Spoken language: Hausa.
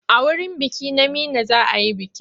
A wurin biki na Meena za a yi bikin.